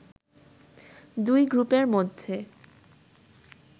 দুই গ্রুপের মধ্যে